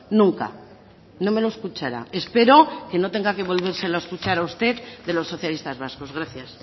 nunca no me lo escuchará espero que no tenga que volvérselo a escuchar a usted de los socialistas vascos gracias